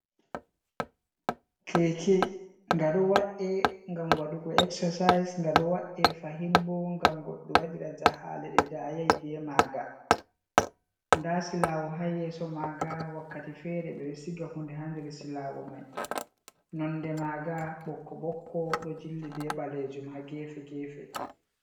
Keke nga ɗo wa’e ngam waɗugo exercise nga ɗo wa’e fahin bo ngam goɗɗo waɗira jahale je dayai be maga, nda silawo ha yeso maga wakkati fere ɓe ɗo shiga hunde ha nder silawo mai nonde maga ɓokko ɓokko ɗo jilli be ɓalejum ha gefe gefe.